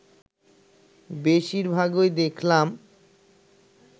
বেশির ভাগই দেখতাম